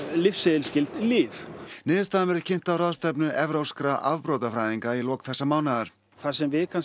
lyfseðilsskyld lyf niðurstaðan verður kynnt á ráðstefnu evrópskra afbrotafræðinga í lok þessa mánaðar það sem við